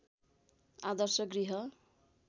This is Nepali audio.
आदर्श गृह